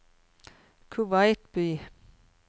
Kuwait by